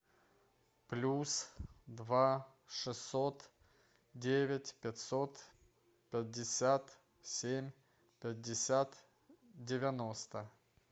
плюс два шестьсот девять пятьсот пятьдесят семь пятьдесят девяносто